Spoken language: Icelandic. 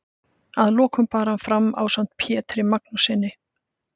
Að lokum bar hann fram ásamt Pjetri Magnússyni